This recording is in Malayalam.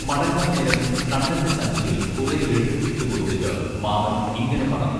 മടങ്ങാന്നേരം കണ്ണന്റെ സഞ്ചിയിൽ കുറെ ലഡു ഇട്ടുകൊടുത്തിട്ട് മാമൻ ഇങ്ങനെ പറഞ്ഞു